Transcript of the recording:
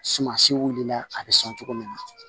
Sumasi wulila a bɛ sɔn cogo min na